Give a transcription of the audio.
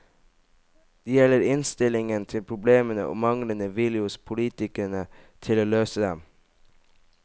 Det gjelder innstillingen til problemene og manglende vilje hos politikerne til å løse dem.